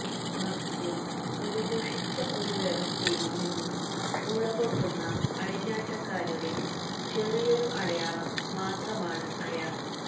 മറിച്ച് ഒരു ദുഷിച്ച ഒരു വ്യവസ്ഥിതിയിൽ നിന്നും മുളപൊട്ടുന്ന അഴിഞ്ഞാട്ടക്കാരുടെ ചെറിയൊരു അടയാളം മാത്രമാണ് അയാൾ